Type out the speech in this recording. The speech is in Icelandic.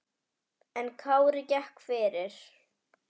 En Kári gekk fyrir.